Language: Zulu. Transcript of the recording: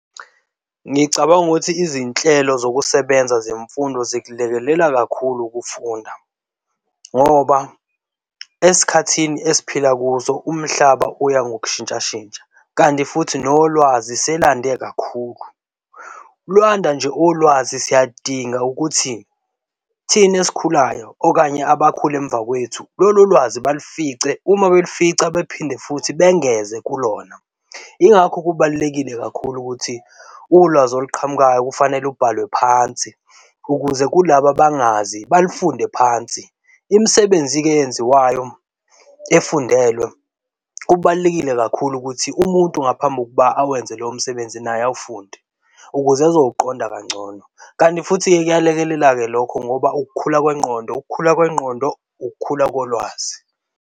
Ngicabanga ukuthi izinhlelo zokusebenza zemfundo zikulekelela kakhulu ukufunda ngoba esikhathini esiphila kuso umhlaba uya ngokushintshashintsha, kanti futhi nolwazi selande kakhulu. Lwanda nje ulwazi siyadinga ukuthi thina esikhulayo okanye abakhulu emva kwethu lolo lwazi balifice uma balifica bephinde futhi bengeze kulona. Yingakho kubalulekile kakhulu ukuthi ulwazi oluqhamukayo kufanele ubhalwe phansi ukuze kulaba abangazi balifunde phansi. Imisebenzi-ke eyenziwayo efundelwe okubalulekile kakhulu ukuthi umuntu ngaphambi kokuba awenze lowo msebenzi naye awufunde ukuze azowuqonda kangcono. Kanti futhi-ke kuyalekelela-ke lokho ngoba ukukhula kwengqondo, ukukhula kwengqondo, ukukhula kolwazi.